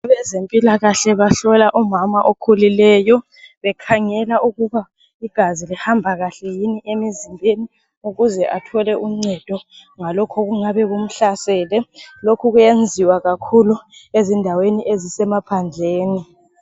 Abezempilakahle bahlola umama okhulileyo bekhangela ukuba igazi lihamba kahle yini emzimbeni ,ukuze athole uncedo ngalokhu okungabe kumhlasele, lokhu kuyenziwa kakhulu ezindaweni emaphandleni.